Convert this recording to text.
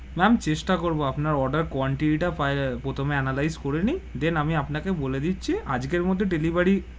Ma'am চেষ্টা করবো আপনার order quantity তা প্রথম এ analyse করে নি then আমি আপনাকে বলে দিচ্ছি আজকের মধ্যে delivery.